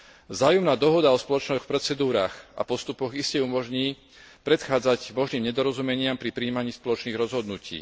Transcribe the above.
Vzájomná dohoda o spoločných procedúrach a postupoch iste umožní predchádzať možným nedorozumeniam pri prijímaní spoločných rozhodnutí.